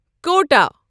کوٹہَ